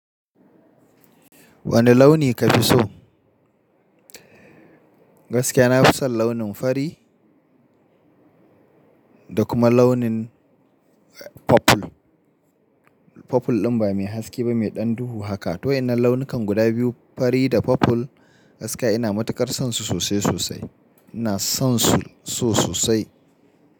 Wane launi kafi so? Gaskiya na fi son launin fari da kuma launin purple. Purple din ba mai haske ba, mai dan duhu haka. To wayannan launukan guda biyu fari da purple gaskiya ina matuƙar son su sosai sosai. Ina son su so sosai.